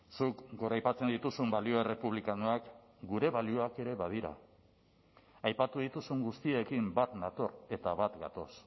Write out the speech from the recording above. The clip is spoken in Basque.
zuk goraipatzen dituzun balio errepublikanoak gure balioak ere badira aipatu dituzun guztiekin bat nator eta bat gatoz